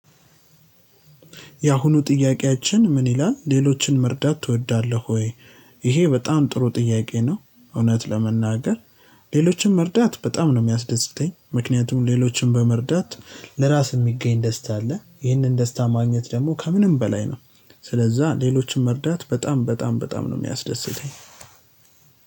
የአሁኑ ጥያቄያችን ምን ይላል ሌሎችን መርዳት ትወዳለህ ወይ? ይሄ በጣም ጥሩ ጥያቄ ነው እውነት ለመናገር ሌሎችን መርዳት በጣም ነው የሚያስደስተኝ። ምክንያቱም ሌሎችንም በመርዳት ለራስ የሚገኝ ደስታ አለ። ይህንን ደስታ ማግኘት ደግሞ ከምንም በላይ ነው። ስለዛ ሌሎችን መርዳት በጣም በጣም በጣም ነው የሚያስደስተኝ።